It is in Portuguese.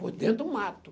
Por dentro do mato.